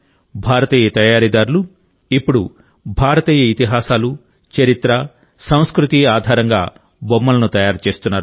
భారతీయ తయారీదారులు ఇప్పుడు భారతీయ ఇతిహాసాలు చరిత్ర సంస్కృతి ఆధారంగా బొమ్మలను తయారు చేస్తున్నారు